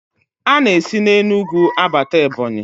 A na-esi Enugwu abata Ebọnyị